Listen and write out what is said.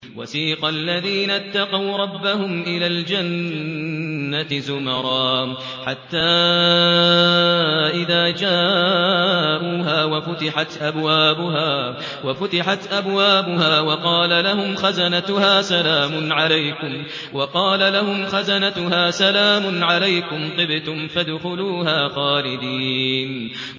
وَسِيقَ الَّذِينَ اتَّقَوْا رَبَّهُمْ إِلَى الْجَنَّةِ زُمَرًا ۖ حَتَّىٰ إِذَا جَاءُوهَا وَفُتِحَتْ أَبْوَابُهَا وَقَالَ لَهُمْ خَزَنَتُهَا سَلَامٌ عَلَيْكُمْ طِبْتُمْ فَادْخُلُوهَا خَالِدِينَ